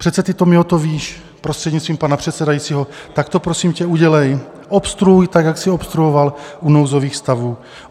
Přece ty, Tomio, to víš, prostřednictvím pana předsedajícího, tak to prosím tě udělej, obstruuj tak, jak jsi obstruoval u nouzových stavů.